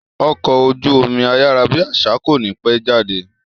Ọkọ̀ ojú omi ayárábiàsà kò ní pẹ́ jáde